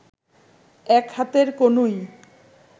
এক হাতের কনুই